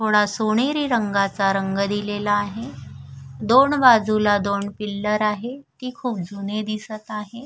थोडा सोनेरी रंगाचा रंग दिलेला आहे दोन बाजूला दोन पिल्लर आहे ती खुप जुने दिसत आहे.